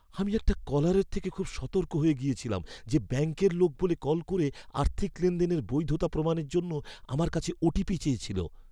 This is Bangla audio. আমি একটা কলারের থেকে খুব সতর্ক হয়ে গেছিলাম যে ব্যাংকের লোক বলে কল করে আর্থিক লেনদেনের বৈধতা প্রমাণের জন্য আমার কাছে ওটিপি চেয়েছিল।